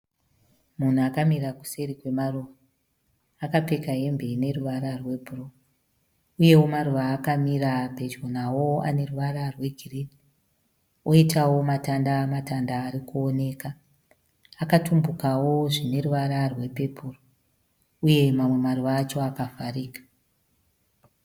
Munhu akamira kuseri kwemaruva. Akapfeka hembe ine ruvara rwebhuruu uyewo maruva aakamira pedyo nawo ane ruvara rwegirini, oitawo matanda matanda ari kuonekwa. Akatumbukawo zvine ruvara rwepepuru uye mamwe maruva acho akavharika.